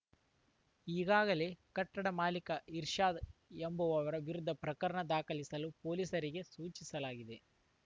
ಈಗಾಗಲೇ ಕಟ್ಟಡದ ಮಾಲೀಕ ಇರ್ಷಾದ್‌ ಎಂಬವರ ವಿರುದ್ಧ ಪ್ರಕರಣ ದಾಖಲಿಸಲು ಪೊಲೀಸರಿಗೆ ಸೂಚಿಸಲಾಗಿದೆ